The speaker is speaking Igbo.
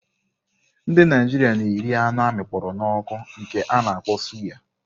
Ndị Naijiria na-eri anụ amịkpọro n'oku nke a na-akpọ suyà.